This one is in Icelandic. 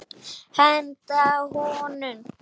Henda honum?